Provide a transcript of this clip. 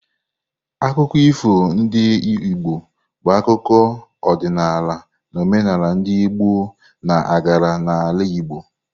Akụkọ ifo ndị Igbo bụ akụkọ, ọdịnala na omenala ndị ọgbọ na-agara n’ala Igbo.